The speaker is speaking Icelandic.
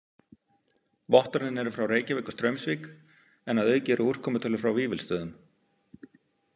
Vottorðin eru frá Reykjavík og Straumsvík en að auki eru úrkomutölur frá Vífilsstöðum.